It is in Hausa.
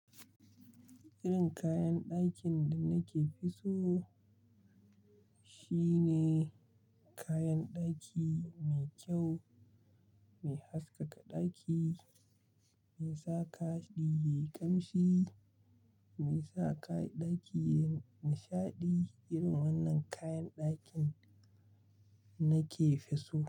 Irin kayan ɗakin da nake fi so shine kayan ɗaki mai kyau, mai haskaka ɗaki, mai sa daki yayi ƙamshi, mai sa ɗaki yayi nishaɗi. Irin wannan kayan ɗakin nake fi so.